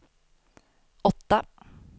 åtta